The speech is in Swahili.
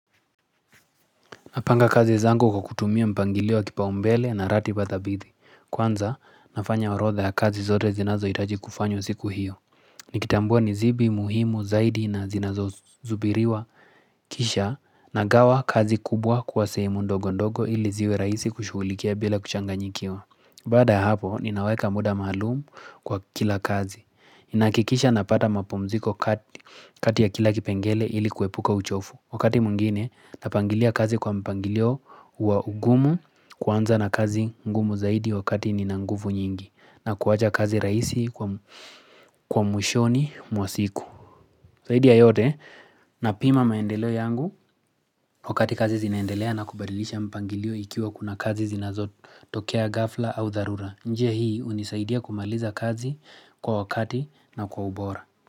Napanga kazi zangu kwa kutumia mpangilio wa kipaumbele na ratiba thabithi. Kwanza, nafanya orodha ya kazi zote zinazo itaji kufanywa siku hiyo. Nikitambua nizibi, muhimu, zaidi na zinazo zubiriwa kisha na gawa kazi kubwa kwa sehemu ndogo ndogo ili ziwe raisi kushughulikia bila kuchanganyikiwa. Baada hapo, ninaweka muda maalumu kwa kila kazi. Nahakikisha napata mapumziko kati ya kila kipengele ili kuepuka uchofu. Wakati mwingine napangilia kazi kwa mpangilio wa ugumu kwanza na kazi ngumu zaidi wakati ninanguvu nyingi na kuwacha kazi raisi kwa mwishoni mwasiku Zaidi ya yote na pima maendeleo yangu wakati kazi zinaendelea na kubadilisha mpangilio ikiwa kuna kazi zinazotokea gafla au dharura njia hii unisaidia kumaliza kazi kwa wakati na kwa ubora.